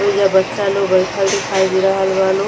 ओइजा बच्चा लोग बैठल दिखाई दे रहल बा लोग।